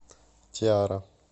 тиара